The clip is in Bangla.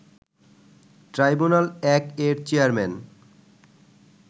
ট্রাইব্যুনাল-১ এর চেয়ারম্যান